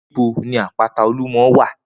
Nibó ni àpátá ólúmò wá?